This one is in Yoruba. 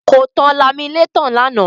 Kò tan laminétọ̀ lánàá.